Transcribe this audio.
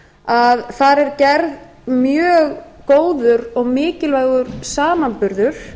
að þar er gerður mjög góður og mikilvægur samanburður